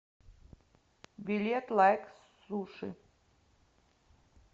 билет лайк суши